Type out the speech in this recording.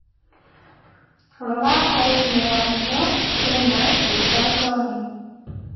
Rora arĩa mĩarĩo ĩna rĩĩtwa John